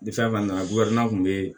Ni fɛn fɛn nana kun bɛ yen